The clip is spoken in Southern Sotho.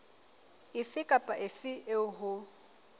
efe kapa efe eo ho